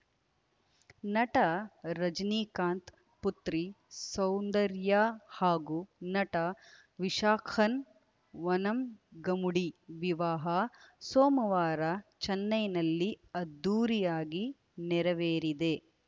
ನಟ ರಜನೀಕಾಂತ್‌ ಪುತ್ರಿ ಸೌಂದರ್ಯಾ ಹಾಗೂ ನಟ ವಿಶಾಖನ್‌ ವನಂಗಮುಡಿ ವಿವಾಹ ಸೋಮವಾರ ಚೆನ್ನೈನಲ್ಲಿ ಅದ್ಧೂರಿಯಾಗಿ ನೆರವೇರಿದೆ